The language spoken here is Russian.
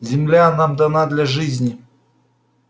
земля нам дана для жизни